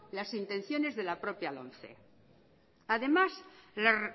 las intenciones de la propia lomce además la